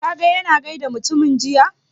Ka ga ya na gaida mutumin jiya?